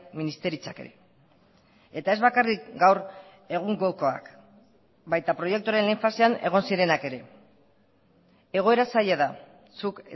ministeritzak ere eta ez bakarrik gaur egungokoak baita proiektuaren lehen fasean egon zirenak ere egoera zaila da zuk